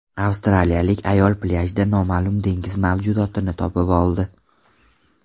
Avstraliyalik ayol plyajda noma’lum dengiz mavjudotini topib oldi.